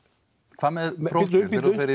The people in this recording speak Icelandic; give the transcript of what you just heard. hvað með prófkjörin